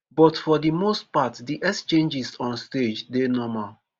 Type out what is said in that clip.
but for di most part di exchanges on stage dey normal.